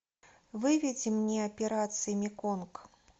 выведи мне операция меконг